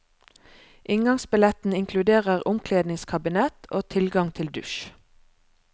Inngangsbilletten inkluderer omkledningskabinett og tilgang til dusj.